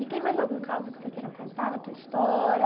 E tem mais algum caso que você queira contar da tua história?